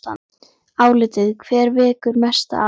Álitið: Hver vekur mesta athygli?